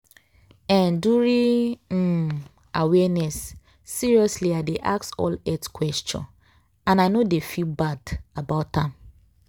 eh during um awareness seriously i dey ask all health question and i no dey feel bad about am.